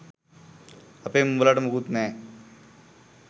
අපෙන් උබලට මුකුත් නෑ